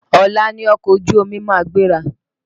Ọ̀la ni ọkọ̀ ojú omi ma gbéra.